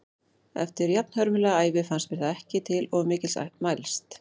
Eftir jafnhörmulega ævi fannst mér það ekki til of mikils mælst.